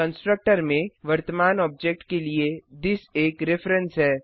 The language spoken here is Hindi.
कंस्ट्रक्टर में वर्तमान ऑब्जेक्ट के लिए थिस एक रिफ्रेंस है